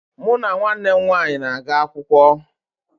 Mụ na nwanne m nwaanyị na-aga akwụkwọ